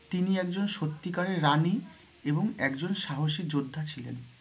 তিনি একজন সত্যি কারের রানী এবং একজন সাহসী যোদ্ধা ছিলেন।